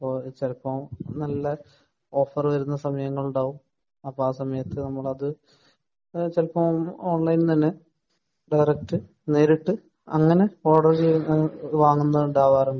ചെലപ്പോ നല്ല ഓഫർ വരുന്ന സമയങ്ങളിൽ ഉണ്ടാവും അപ്പൊ ആ സമയത് നമ്മളത് ഓൺലൈൻ തന്നെ ഡയറക്റ്റ് നേരിട്ട് ഓർഡർ ചെയ്തിട്ട് വാങ്ങുന്നുണ്ടാവർ ഉണ്ട്